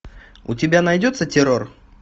у тебя найдется террор